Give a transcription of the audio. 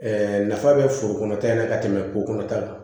nafa bɛ foro kɔnɔta in na ka tɛmɛ kolo ta kan